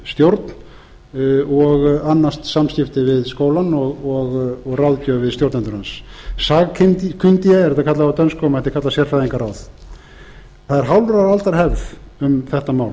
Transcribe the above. stjórn sem annast samskipti við skólann og ráðgjöf við stjórnendur hans sagkyndige er þetta kallað á dönsku og mætti kalla sérfræðingaráð það er hálfrar aldar hefð um þetta mál